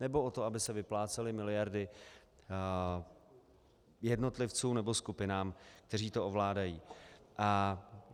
Nebo o to, aby se vyplácely miliardy jednotlivcům nebo skupinám, kteří to ovládají?